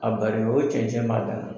A barili o cɛncɛn b'a dama na.